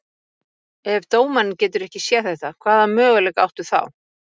Ef dómarinn getur ekki séð þetta, hvaða möguleika áttu þá?